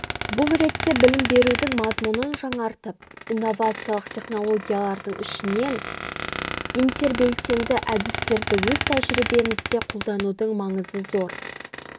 бұл ретте білім берудің мазмұнын жаңартып инновациялық технологиялардың ішінен интербелсенді әдістерді өз тәжірибемізде қолданудың маңызы зор